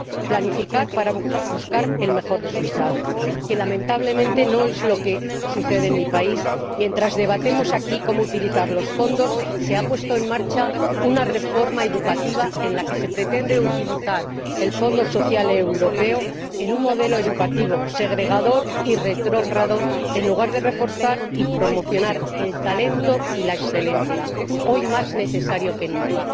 Planificar para buscar el mejor resultado, lo que, lamentablemente, no sucede en mi país mientras debatimos aquí cómo utilizar los fondos, se ha puesto en marcha una reforma educativa en la que se pretende utilizar el Fondo Social Europeo para un modelo educativo segregador y retrógrado, en lugar de reforzar y promocionar el talento y la excelencia, hoy más necesarios que nunca.